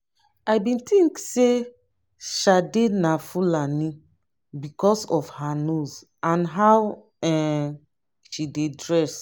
i bin think say sade na fulani because of her nose and how um she dey dress